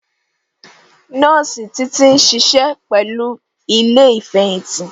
Nọọsi Títí ń ṣiṣẹ́ pẹ̀lú ilé Ìfẹ̀yìntì